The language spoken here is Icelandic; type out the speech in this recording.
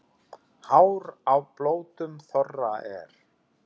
Hár á blótum þorra er.